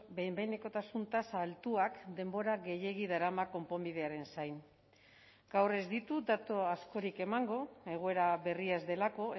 behin behinekotasun tasa altuak denbora gehiegi darama konponbidearen zain gaur ez ditut datu askorik emango egoera berri ez delako